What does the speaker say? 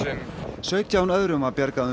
sautján öðrum var bjargað um